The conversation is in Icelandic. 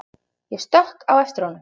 Ég stökk á eftir honum.